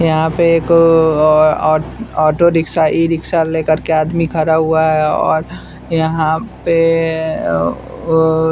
यहाँ पे एक अअ ओओ ऑटो रिक्शा ई रिक्शा लेकर के आदमी खड़ा हुआ है और यहाँ पे अ ओओ --